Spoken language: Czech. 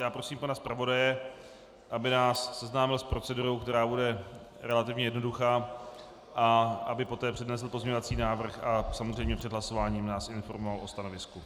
Já prosím pana zpravodaje, aby nás seznámil s procedurou, která bude relativně jednoduchá, a aby poté přednesl pozměňovací návrh a samozřejmě před hlasováním nás informoval o stanovisku.